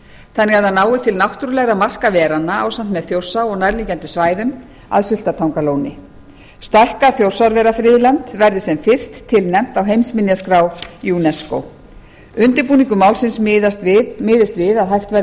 þannig að það nái til náttúrulegra marka veranna ásamt með þjórsá og nærliggjandi svæðum að sultartangalóni stækkað þjórsárverafriðland verði sem fyrst tilnefnt á heimsminjaskrá unesco undirbúningur málsins miðist við að hægt verði